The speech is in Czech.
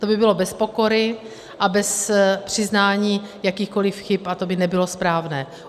To by bylo bez pokory a bez přiznání jakýchkoli chyb, a to by nebylo správné.